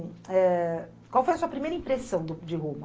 Eh... Qual foi a sua primeira impressão do de Roma?